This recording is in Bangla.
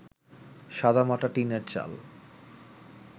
সাদামাটা টিনের চাল